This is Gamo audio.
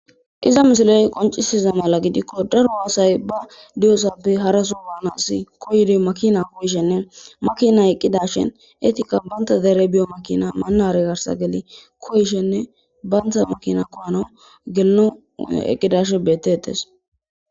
Iza misiloy qoncisiza mala gidikko daro haasay ba diyosappe haraso waana assi koydi makina koyishenne makina eqqida shen eetika baynta deere biyo makina maanare garsa geli koyshenne bayntha makina kohano gelno eqqidashe beteetes.